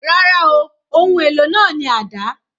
Rárá ooo, ohun èlò náà ni àdá